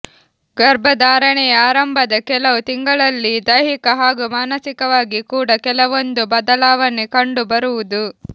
ಗರ್ಭಧಾರಣೆಯ ಆರಂಭದ ಕೆಲವು ತಿಂಗಳಲ್ಲಿ ದೈಹಿಕ ಹಾಗೂ ಮಾನಸಿಕವಾಗಿ ಕೂಡ ಕೆಲವೊಂದು ಬದಲಾವಣೆ ಕಂಡು ಬರುವುದು